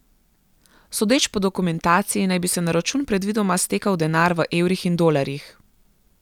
Sodeč po dokumentaciji naj bi se na račun predvidoma stekal denar v evrih in dolarjih.